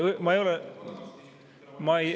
Ma ei ole …